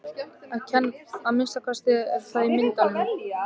Að minnsta kosti er hann það í myndunum.